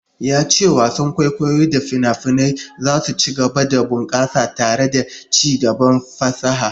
Ya ce wasan kwaikwayo da fina-finai za su ci gaba da bunkasa tare da ci gaban fasaha.